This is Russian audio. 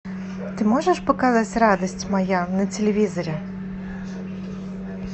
ты можешь показать радость моя на телевизоре